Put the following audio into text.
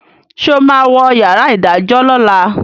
ṣe o má wọ yàrá idajọ lọla?